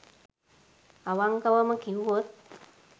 අවංකවම කිව්වොත්